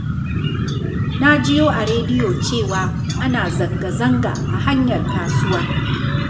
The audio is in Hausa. Na jiyo a rediyo cewa ana zanga-zanga a hanyar kasuwa.